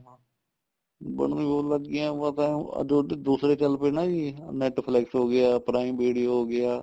ਬਣਨ ਬਹੁਤ ਲੱਗ ਗਈਆਂ ਉਹ ਪਤਾ ਆਹ ਦੂਸਰੇ ਚੱਲ ਪਏ ਨਾ ਜੀ Netflix ਹੋ ਗਿਆ prime video ਹੋ ਗਿਆ